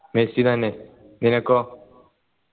Messi തന്നെ നിനക്കോ